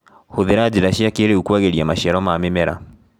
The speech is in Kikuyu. Hũthĩra njĩra cia kĩrĩu kwagĩria maciaro ma mĩmera.